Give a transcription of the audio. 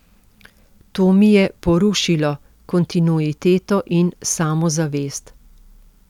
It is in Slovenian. To mi je porušilo kontinuiteto in samozavest.